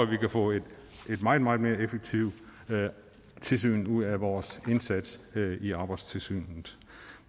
vi kan få et meget meget mere effektivt tilsyn ud af vores indsats i arbejdstilsynet